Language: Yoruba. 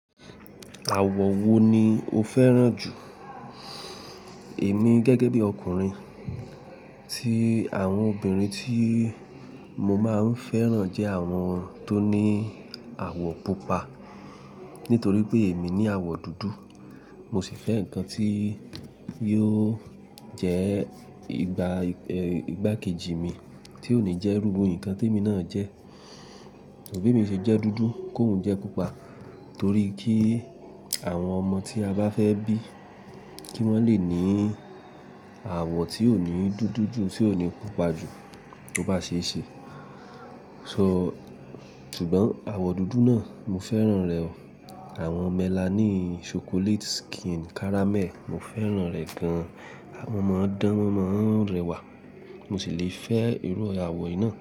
Àwọ̀ wo ni o fẹ́ràn jù? Èmi gẹ́gẹ́ bí ọkùnrin, tí àwọn obìnrin tí mo máa ń fẹ́ràn jẹ́ àwọn tó ní àwọ̀ pupa. Nítorí pé èmi ní àwọ̀ dúdú, mo sì fẹ́ nǹkan tí yóò jẹ́ ìgbà kejì mi tí ò ní jẹ́ irú bii nǹkan tí èmi náà jẹ́. Bí mi sì jẹ́ dúdú, kòún jẹ́ pupa torí kí àwọn ọmọ tí a bá fẹ́ bí kí wọ́n le ní àwọ̀ tí ò ní dúdú jù, tí ò ní pupa jù tó bá ṣe é ṣe. So ṣùgbọ́n àwọ̀ dúdú náà mo fẹ́ràn rẹ̀ o. Àwọn melanin, chocolate skin, caramel, mo fẹ́ràn rẹ̀ gan. À, wọn maa n dán, won maa n ọrẹwà, mo sì lè fẹ́ irú àwọ̀ yii náà.